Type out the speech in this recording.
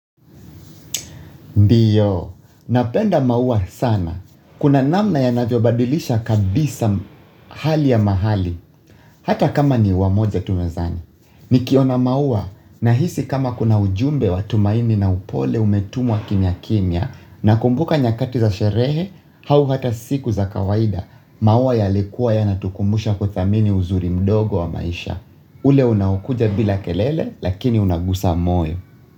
Ndiyo, napenda maua sana. Kuna namna yanavyo badilisha kabisa hali ya mahali, hata kama ni ua moja tu mezani. Ni kiona maua, nahisi kama kuna ujumbe wa tumaini na upole umetumwa kimya kimya, nakumbuka nyakati za sherehe, hau hata siku za kawaida, maua yalikuwa yanatukumbusha kuthamini uzuri mdogo wa maisha. Ule unoakuja bila kelele, lakini unagusa moyo.